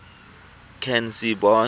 canzibe